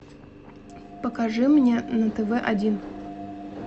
покажи мне на тв один